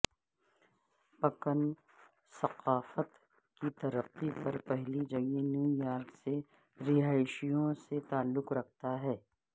پکن ثقافت کی ترقی میں پہلی جگہ نیو یارک سے رہائشیوں سے تعلق رکھتا ہے